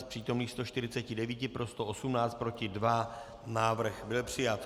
Z přítomných 149 pro 118, proti 2, návrh byl přijat.